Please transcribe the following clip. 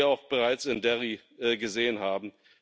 auch bereits in Derry gesehen haben.